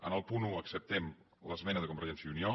en el punt un acceptem l’esmena de convergència i unió